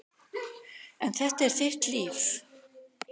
En þetta er þitt líf.